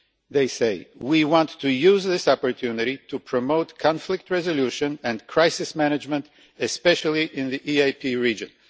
They say We want to use this opportunity to promote conflict resolution and crisis management, especially in the EaP region'.